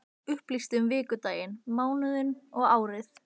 Dagblað upplýsti um vikudaginn, mánuðinn, árið.